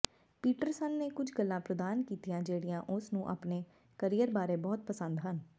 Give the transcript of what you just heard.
Peterson ਨੇ ਕੁਝ ਗੱਲਾਂ ਪ੍ਰਦਾਨ ਕੀਤੀਆਂ ਜਿਹੜੀਆਂ ਉਸ ਨੂੰ ਆਪਣੇ ਕਰੀਅਰ ਬਾਰੇ ਬਹੁਤ ਪਸੰਦ ਹਨ